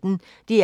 DR P1